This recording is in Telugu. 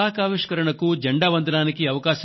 వారి ఊహాశక్తికి ఆ రెండు రాష్ట్రాలను అభినందిస్తున్నాను